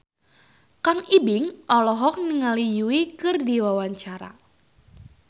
Kang Ibing olohok ningali Yui keur diwawancara